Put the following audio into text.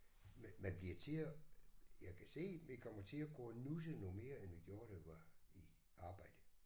Men man bliver tider jeg kan se vi kommer til at gå og nusse noget mere end vi gjorde da vi var i arbejde